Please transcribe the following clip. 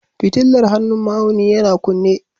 Fitilar hannun ma'auni yana kunne